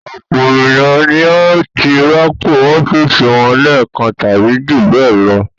Ọ̀pọ̀ ènìyàn ni ó ti rọ́pò ọ́fíísì wọn lẹ́ẹ̀kan tàbí jù bẹ́ẹ̀ lọ.